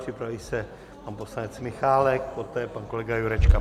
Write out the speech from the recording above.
Připraví se pan poslanec Michálek, poté pan kolega Jurečka.